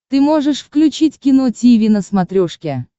ты можешь включить кино тиви на смотрешке